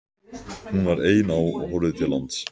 Hún var ein á og horfði til lands.